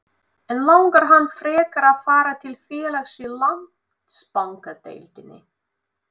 En langar hann frekar að fara til félags í Landsbankadeildinni?